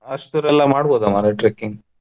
ಅಸ್ಟು ದೂರ ಎಲ್ಲಾ ಮಾಡ್ಬೋದ ಮಾರೇ trekking ?